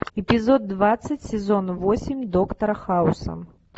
эпизод двадцать сезон восемь доктора хауса